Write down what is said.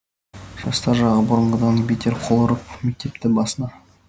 жастар жағы бұрынғыдан бетер қол ұрып мектепті басына